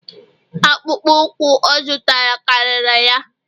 akpụkpọ ụkwụ ọ zụtara kariri ya